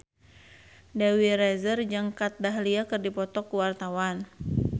Dewi Rezer jeung Kat Dahlia keur dipoto ku wartawan